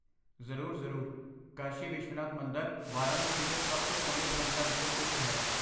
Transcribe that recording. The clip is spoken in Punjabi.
ਜ਼ਰੂਰ. ਮਸ਼ਹੂਰ ਕਾਸ਼ੀ ਵਿਸ਼ਵਨਾਥ ਮੰਦਰ ਵਾਰਾਣਸੀ ਦੇ ਸਭ ਤੋਂ ਪ੍ਰਮੁੱਖ ਮੰਦਰਾਂ ਵਿੱਚੋਂ ਇੱਕ ਹੈ।